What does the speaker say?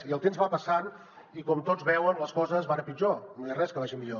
i el temps va passant i com tots veuen les coses van a pitjor no hi ha res que vagi millor